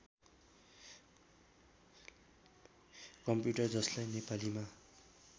computer जसलाई नेपालीमा